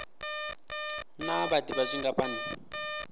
naa vha d ivha zwingafhani